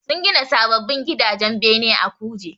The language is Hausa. Sun gina sababbin gidajen bene a Kuje